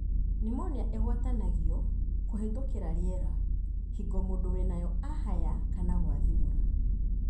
Pneumonia igwatanagio kũhetũkĩra riera hĩngo mũndũ wĩnayo ahaya kana gwathimũra.